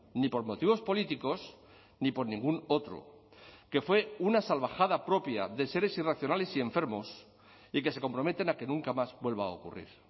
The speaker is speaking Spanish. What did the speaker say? ni por motivos políticos ni por ningún otro que fue una salvajada propia de seres irracionales y enfermos y que se comprometen a que nunca más vuelva a ocurrir